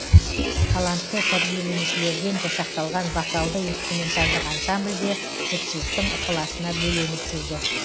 талантты тәрбиеленушілерден жасақталған вокалды инструменталдық ансамбль де жұртшылықтың ықыласына бөленіп жүрді